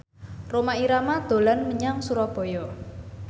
Rhoma Irama dolan menyang Surabaya